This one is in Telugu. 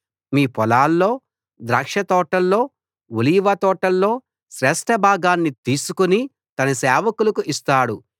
మీ పొలాల్లో ద్రాక్షతోటల్లో ఒలీవ తోటల్లో శ్రేష్ఠ భాగాన్ని తీసుకు తన సేవకులకు ఇస్తాడు